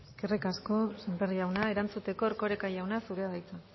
eskerrik asko sémper jauna erantzuteko erkoreka jauna zurea da hitza